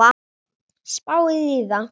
Spáið í það!